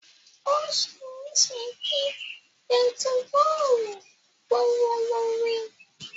Ó ṣe é ṣe kí bẹntiróólù gbówó lórí.